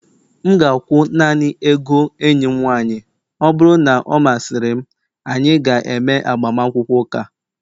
M ga-akwụ naanị ego enyi m nwanyị, ọ bụrụ na ọ masịrị m, anyị ga-eme agbamakwụkwọ ụka